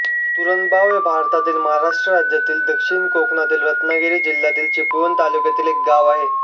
तुरंबाव हे भारतातील महाराष्ट्र राज्यातील दक्षिण कोकणातील रत्नागिरी जिल्ह्यातील चिपळूण तालुक्यातील एक गाव आहे